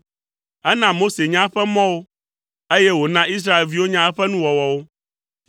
Ena Mose nya eƒe mɔwo, eye wòna Israelviwo nya eƒe nuwɔwɔwo.